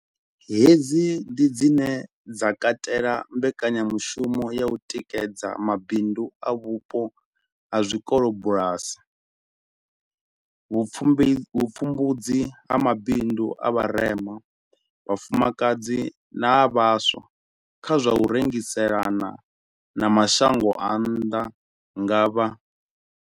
Hedzi ndi dzine dza katela mbekanyamushumo ya u tikedza ma bindu a vhupo ha zwikolobulasi, vhupfumbudzi ha mabindu a vha rema, vhafumakadzi na a vhaswa kha zwa u rengiselana na ma shango a nnḓa nga vha.